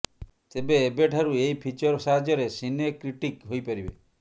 ତେବେ ଏବେ ଠାରୁ ଏହି ଫିଚର ସାହାଯ୍ୟରେ ସିନେ କ୍ରିଟିକ୍ ହୋଇପାରିବେ